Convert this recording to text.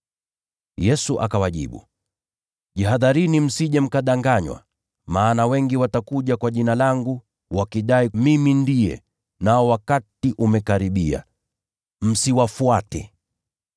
Yesu akawajibu, “Jihadharini msije mkadanganywa. Maana wengi watakuja kwa Jina langu, wakidai, ‘Mimi ndiye,’ na, ‘Wakati umekaribia.’ Msiwafuate.